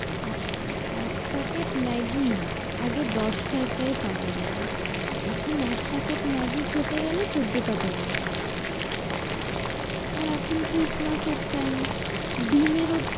এক এক packet Maggi আগে দশ টাকায় পাওয়া যেতো এখন এক packet ম্যাগি খেতে গেলে চোদ্দো টাকা দাও আর এখন christ mas এর time ডিম এর ও,